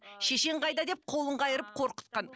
шешең қайда деп қолын қайырып қорқытқан